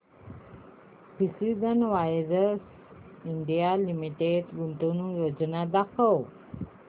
precision wires India limited गुंतवणूक योजना दाखव